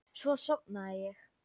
Svo sofnaði ég.